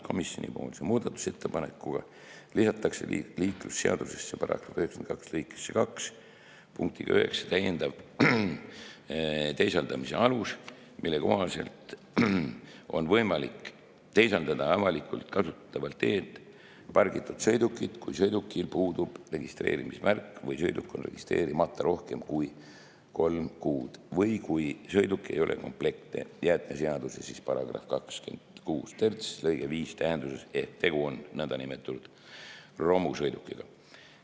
Komisjoni muudatusettepanekuga lisatakse liiklusseaduse § 92 lõikesse 2 punktiga 9 täiendav teisaldamise alus, mille kohaselt on võimalik teisaldada avalikult kasutatavalt teelt pargitud sõidukit, kui sõidukil puudub registreerimismärk või sõiduk on registreerimata rohkem kui kolm kuud või kui sõiduk ei ole komplektne jäätmeseaduse § 263 lõike 5 tähenduses ehk tegu on nõndanimetatud romusõidukiga.